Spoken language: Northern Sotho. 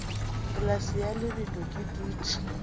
polase ya lebelo ke dutše